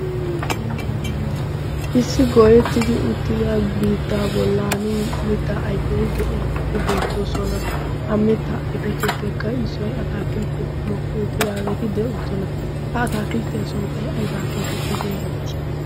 issi goyettidi uttida biittaa bollan mittaa aifeti de'iyaageeti beettoosona a mitta aifetuppekka issoi a taakiltteti mokki uttidaageeti de'oosona. ha ataakilttiyaa sunttai aibaa geetettidi erettii?